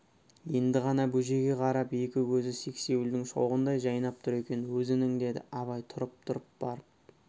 енді ғана бөжейге қарап екі көзі сексеуілдің шоғындай жайнап тұр екен өзінің деді абай тұрып-тұрып барып